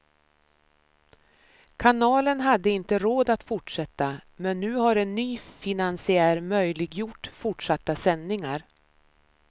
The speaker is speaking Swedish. Kanalen hade inte råd att fortsätta, men nu har en ny finansiär möjliggjort fortsatta sändningar.